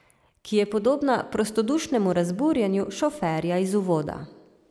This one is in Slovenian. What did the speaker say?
Ki je podobna prostodušnemu razburjenju šoferja iz uvoda.